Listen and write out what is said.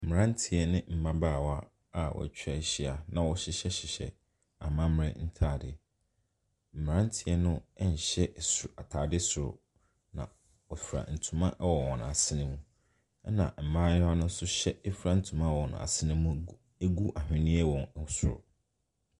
Mmranteɛ ne mmaabawa a watwa ahyia, na wɔhyehyɛ hyehyɛ amammerɛ ntaade. Mmranteɛ no ɛnhyɛ ataade soro. Na wɔfira ntoma ɛwɔ wɔn asene. Ɛna mmaa no nso efira ntoma wɔ wɔn asene mu egu ahweneɛ wɔ soro.